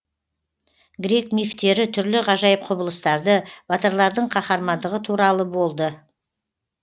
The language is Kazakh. грек мифтері түрлі ғажайып құбылыстарды батырлардың қаһармандығы туралы болды